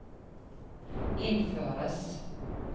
innføres